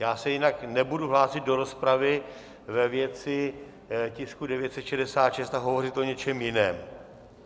Já se jinak nebudu hlásit do rozpravy ve věci tisku 966 a hovořit o něčem jiném.